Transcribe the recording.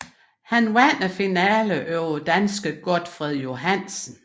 Han vandt finalen over danske Gotfred Johansen